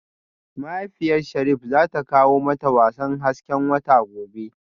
Mahaifiyar Sharif zata kawo mata wasan hasken wata gobe